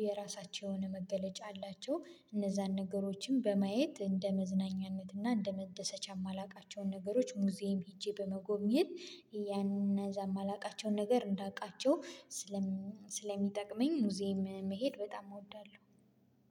የየራሳቸውን መገለጫ አላቸው እነዛን ነገሮችን በማየት እንደ መዝናኛነት እና እንደ መደሰቻ የማላውቃቸውን ነገሮች ሙዚየም ሄጄ በመጎብኘት ያንን እዛ የማላውቃቸውን ነገር እንዳውቃቸው። ስለሚጠቅመኝ ሙዚየም መሄድ በጣም እወዳለሁ